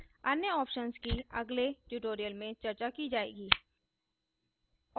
अन्य options की अगले tutorials में चर्चा की जाएगी